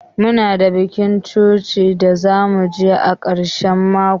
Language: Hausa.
Muna da bikin coci da zamu je a karshen mako.